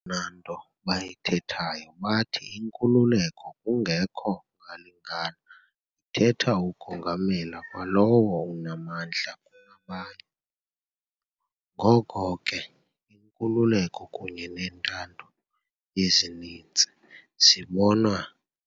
Eyona nto bayithethayo bathi inkululeko kungekho ngalingana ithetha ukongamela kwalowo unamandla kunabanye. Ngoko ke, inkululeko kunye nentando yesininzi zibonwa